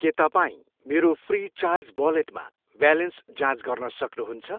के तपाईँ मेरो फ्रिचार्ज वालेटमा ब्यालेन्स जाँच गर्न सक्नुहुन्छ?